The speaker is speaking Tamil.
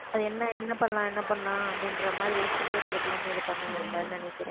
அது என்ன என்ன பண்ணலாம் என்ன பண்ணலாம் அப்படின்ற மாதிரி யோசிச்சுட்டே இருக்கிற பிள்ளைங்க இதை பண்ணுவாங்கன்னு நினைக்கிறேன்